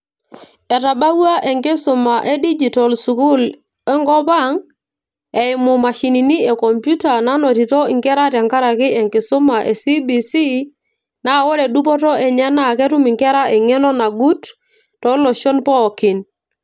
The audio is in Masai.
etabawua enkisuma e digital sukuul enkop ang eimu imashinini e computer naanotito inkera tenkaraki enkisuma e CBC naa ore dupoto enye naa ketum inkera eng'eno nagut tooloshon pookin.